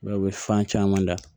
u bɛ fan caman da